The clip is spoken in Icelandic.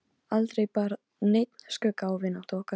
Pilturinn horfir stöðugt á hann og er aftur orðinn órólegur.